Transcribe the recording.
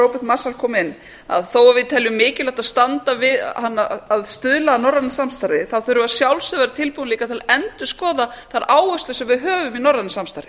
róbert marshall kom inn á að þó að við teljum mikilvægt að stuðla að norrænu samstarfi þurfum við að sjálfsögðu að vera tilbúin líka til að endurskoða þær áherslur sem við höfum í norrænu samstarfi